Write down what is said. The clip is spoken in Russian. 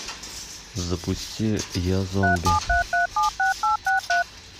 запусти я зомби